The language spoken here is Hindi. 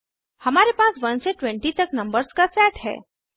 हमारे पास 1 से 20 तक नंबर्स का सेट है